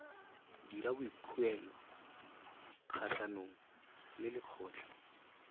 dira boikuelo kgatlhanong le lekgotlha